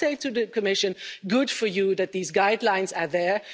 stop her. I say to the Commission good for you that these guidelines